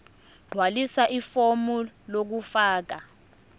gqwalisa ifomu lokufaka